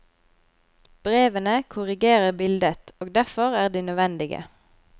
Brevene korrigerer bildet, og derfor er de nødvendige.